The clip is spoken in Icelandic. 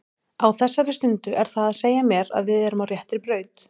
Á þessari stundu er það að segja mér að við erum á réttri braut.